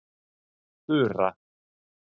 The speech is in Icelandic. Þura